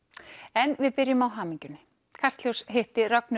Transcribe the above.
en við byrjum á hamingjunni kastljós hitti Rögnu